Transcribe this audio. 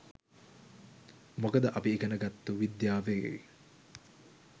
මොකද අපි ඉගෙන ගත්තු විද්‍යාවේ